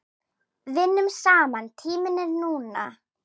Vinnum saman Tíminn er núna.